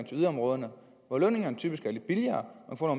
til yderområderne hvor lønningerne typisk er lavere og hvor